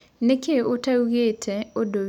Nĩkĩ ũtaũgĩte ũdũ wĩgĩe thabarĩ yakũ?